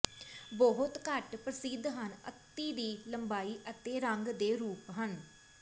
ਬਹੁਤ ਘੱਟ ਪ੍ਰਸਿੱਧ ਹਨ ਅਤਿ ਦੀ ਲੰਬਾਈ ਅਤੇ ਰੰਗ ਦੇ ਰੂਪ ਹਨ